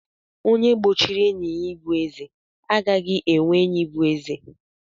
Onye gbochiri enyi ya ịbụ eze, agaghị enwe enyi bụ eze.